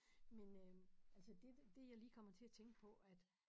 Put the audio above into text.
Men øh altså det det jeg lige kommer til at tænke på at